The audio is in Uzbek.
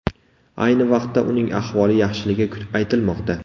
Ayni vaqtda uning ahvoli yaxshiligi aytilmoqda.